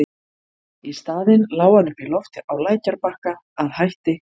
Í staðinn lá hann uppíloft á lækjarbakka, að hætti